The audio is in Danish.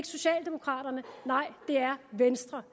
socialdemokraterne nej det er venstre